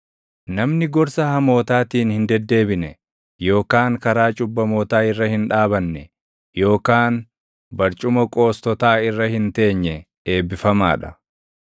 Namni gorsa hamootaatiin hin deddeebine, yookaan karaa cubbamootaa irra hin dhaabanne, yookaan barcuma qoostotaa irra hin teenye, eebbifamaa dha.